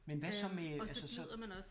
Men hvad så med altså så